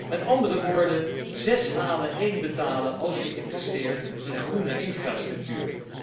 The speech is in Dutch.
Met andere woorden, zes halen, één betalen, als je investeert in groene infrastructuur.